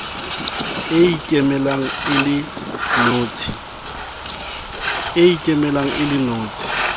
e ikemelang e le notshi